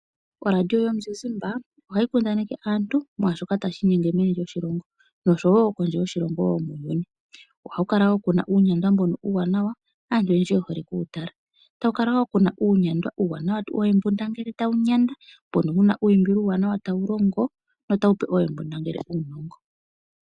ORadio yomuzizimba ohayi kundaneke aantu kwaashoka tashi inyenge meni lyoshilongo osho wo kondje yoshilongo. Ohaku kala wo kuna uunyandwa uuwanwa aantu oyendji ye hole oku wu tala. Ohaku kala wo uunyandwa uuwanawa woohembundangele tawu nyanda , mbono wu na uuyimbilo uuwanawa tawu longo wo ta wu pe oohembundangele uunongo.